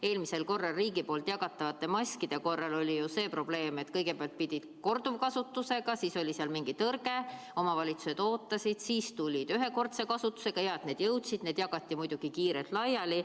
Eelmisel korral riigi poolt jagatavate maskide puhul oli see probleem, et kõigepealt pidid need olema korduvkasutusega, siis oli seal mingi tõrge, omavalitsused ootasid, siis tulid ühekordse kasutusega – hea, et need jõudsid –, need jagati muidugi kiirelt laiali.